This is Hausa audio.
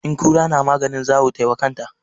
In kura na maganin zawo tai wa kanta.